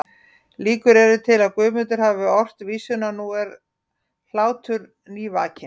Líkur eru til að Guðmundur hafi ort vísuna Nú er hlátur nývakinn